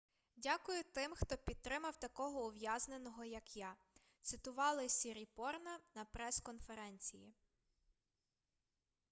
дякую тим хто підтримав такого ув'язненого як я - цитували сіріпорна на прес-конференції